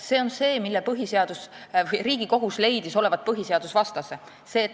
See on see olukord, mille Riigikohus leidis olevat põhiseadusvastase.